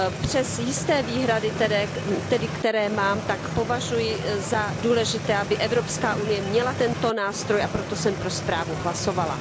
Přes jisté výhrady tedy, které mám, tak považuji za důležité, aby Evropská unie měla tento nástroj, a proto jsem pro zprávu hlasovala.